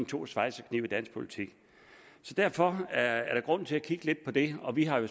to schweizerknive i dansk politik derfor er der grund til at kigge lidt på det og vi har jo